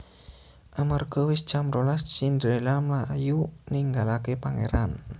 Amarga wis jam rolas Cinderella mlayu ninggalaké pangèran